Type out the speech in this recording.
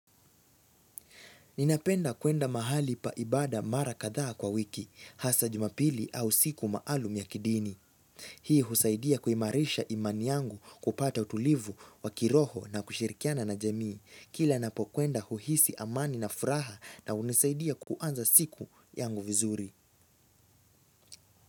Ninapenda kuenda mahali pa ibada mara kadhaa kwa wiki, hasa jumapili au siku maalum ya kidini. Hii husaidia kuimarisha imani yangu kupata utulivu, wakiroho na kushirikiana na jamii, kila napo kwenda uhisi amani na furaha na hunisaidia kuanza siku yangu vizuri.